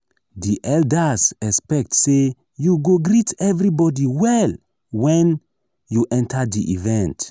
di elders expect say you go greet everybody well when you enter di event.